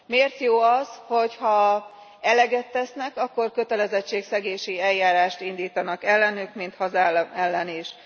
Miért jó az, hogy ha eleget tesznek, akkor kötelességszegési eljárást indítanak ellenük, mint hazám ellen is.